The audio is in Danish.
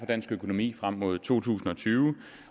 dansk økonomi frem mod to tusind og tyve